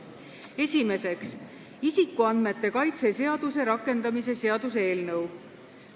Esimeseks, isikuandmete kaitse seaduse rakendamise seaduse eelnõu.